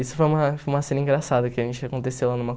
Isso foi uma foi uma cena engraçada que a gente aconteceu lá numa